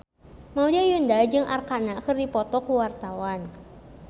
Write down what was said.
Maudy Ayunda jeung Arkarna keur dipoto ku wartawan